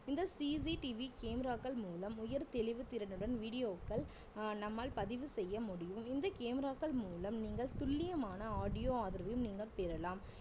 இந்த CCTV camera க்கள் மூலம் உயர் தெளிவு திறனுடன் video க்கள் அஹ் நம்மால் பதிவு செய்ய முடியும் இந்த camera க்கள் மூலம் நீங்கள் துல்லியமான audio ஆதரவையும் நீங்கள் பெறலாம்